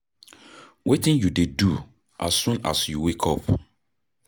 wetin you dey do as soon as you wake up?